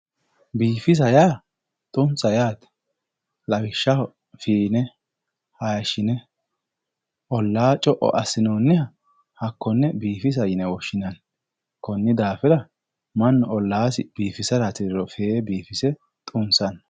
Biifisa yaa xu'misa yaate lawishshaho, fiine, hayiishine ollaa co'o assi'noonniha hakkonne biifisa yine woshshinanni, konni daafira mannu ollaasi biifisa hasiriro fiire biifise xu'misanno.